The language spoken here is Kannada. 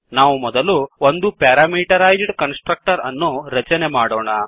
ನಾವು ಮೊದಲು ಒಂದು ಪ್ಯಾರಾಮೀಟರೈಜ್ಡ್ ಕನ್ಸ್ ಟ್ರಕ್ಟರ್ ಅನ್ನು ರಚನೆ ಮಾಡೋಣ